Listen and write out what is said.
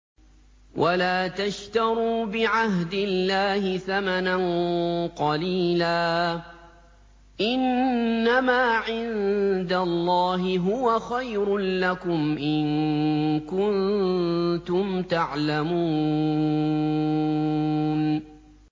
وَلَا تَشْتَرُوا بِعَهْدِ اللَّهِ ثَمَنًا قَلِيلًا ۚ إِنَّمَا عِندَ اللَّهِ هُوَ خَيْرٌ لَّكُمْ إِن كُنتُمْ تَعْلَمُونَ